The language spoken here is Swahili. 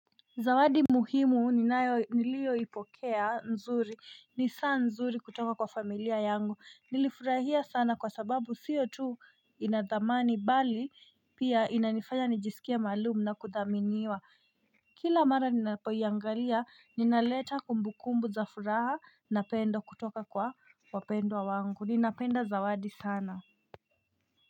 Zawadi muhimu ninayo nilioipokea nzuri ni saa nzuri kutoka kwa familia yangu. Nilifurahia sana kwa sababu sio tu ina thamani bali pia inanifanya nijisikie maalumu na kuthaminiwa kila mara ninapoiangalia inaleta kumbukumbu za furaha na pendo kutoka kwa wapendwa wangu ninapenda zawadi sana.